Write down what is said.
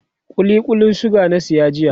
kulli Kullin suga na saya jiya